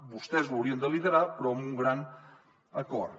vostès ho haurien de liderar però amb un gran acord